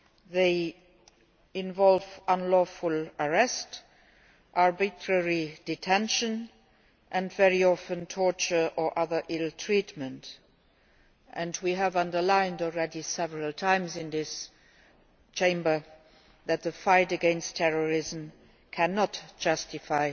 They involve unlawful arrest, arbitrary detention and very often torture or other ill treatment, and we have already underlined several times in this Chamber that the fight against terrorism cannot justify